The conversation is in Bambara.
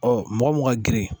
Ɔ mɔgɔ mun ka girin